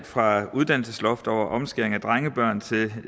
fra uddannelsesloft over omskæring af drengebørn til